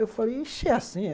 Eu falei, ixi, e é assim é?